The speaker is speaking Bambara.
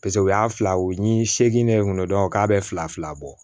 Paseke u y'a fila u ni seegin ne ye n kunna dɔrɔn k'a bɛ fila fila bɔ